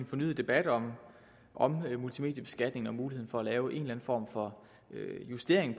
fornyet debat om om multimedieskatningen og muligheden for at lave en form for justering